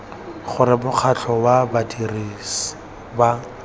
gore mokgatlho wa badirisi ba